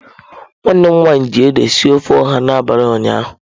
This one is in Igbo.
Nwanne m nwanyi ji ede sie ofe oha n'abali ụnyaahụ.